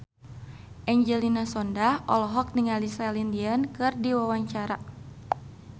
Angelina Sondakh olohok ningali Celine Dion keur diwawancara